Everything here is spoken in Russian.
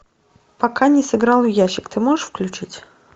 пока не сыграл в ящик ты можешь включить